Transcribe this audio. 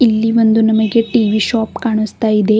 ಇಲ್ಲಿ ಒಂದು ನಮಗೆ ಟಿ_ವಿ ಶಾಪ್ ಕಾಣಸ್ತಾಯಿದೆ.